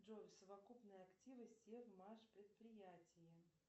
джой совокупные активы севмаш предприятия